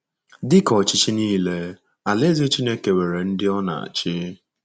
Dị ka ọchịchị nile, Alaeze Chineke nwere ndị ọ na-achị.